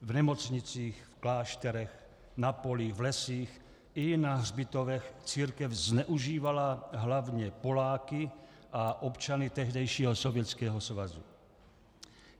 V nemocnicích, v klášterech, na polích, v lesích i na hřbitovech církev zneužívala hlavně Poláky a občany tehdejšího Sovětského svazu.